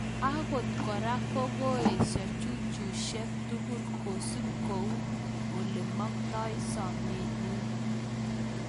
Angot kora ko koesha jujishek tugul kosup kou ole maktai somet nyi.